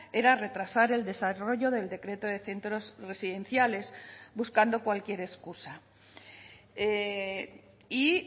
era retrasar el desarrollo del decreto de centros residenciales buscando cualquier excusa y